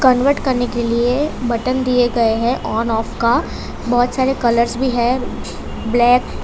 Convert करने के लिए बटन दिए गए हैं ऑन-ऑफ का। बहुत सारे कलर्स भी है ब्लैक --